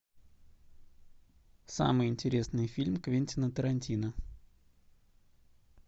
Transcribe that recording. самый интересный фильм квентина тарантино